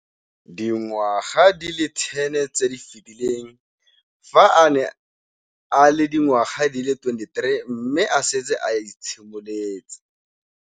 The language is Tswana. Dingwaga di le 10 tse di fetileng, fa a ne a le dingwaga di le 23 mme a setse a itshimoletse.